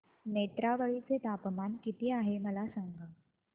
नेत्रावळी चे तापमान किती आहे मला सांगा